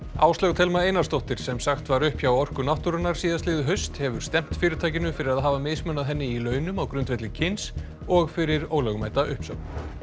Áslaug Thelma Einarsdóttir sem sagt var upp hjá Orku náttúrunnar síðastliðið haust hefur stefnt fyrirtækinu fyrir að hafa mismunað henni í launum á grundvelli kyns og fyrir ólögmæta uppsögn